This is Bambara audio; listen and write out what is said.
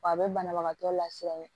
W'a be banabagatɔ lafiya ye